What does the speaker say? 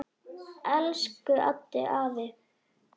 Elsku Eddi afi.